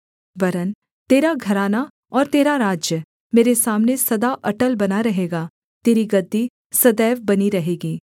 वरन् तेरा घराना और तेरा राज्य मेरे सामने सदा अटल बना रहेगा तेरी गद्दी सदैव बनी रहेगी